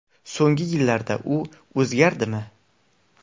So‘nggi yillarda u o‘zgardimi?